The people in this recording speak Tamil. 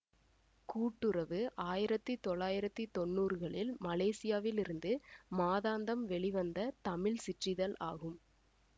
கூட்டுறவு ஆயிரத்தி தொள்ளாயிரத்தி தொன்னூறுகளில் மலேசியாவில் இருந்து மாதாந்தம் வெளிவந்த தமிழ் சிற்றிதழ் ஆகும்